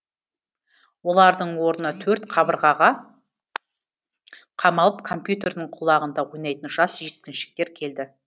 олардың орнына төрт қабырғаға қамалып компьютердің құлағында ойнайтын жас жеткіншектер келді